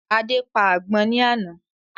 Adé pa àgbọ̀n ni àná